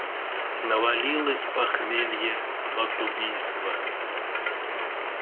навалилось похмелье от убийства